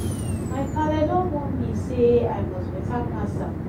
my paale don warn me sey i must beta pass am.